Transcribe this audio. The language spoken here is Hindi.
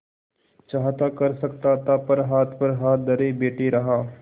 चाहता कर सकता था पर हाथ पर हाथ धरे बैठे रहा